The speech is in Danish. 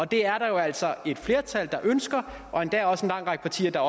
det er der jo altså et flertal der ønsker og der er endda også en lang række partier der